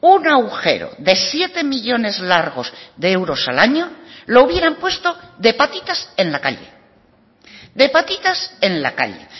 un agujero de siete millónes largos de euros al año lo hubieran puesto de patitas en la calle de patitas en la calle